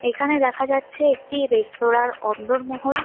এখানে দেখা যাচ্ছে একটি রেস্তোরাঁর অন্দরমহল।